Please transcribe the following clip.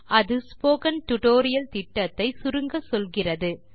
அது spoken tutorial திட்டத்தை சுருங்கச்சொல்கிறது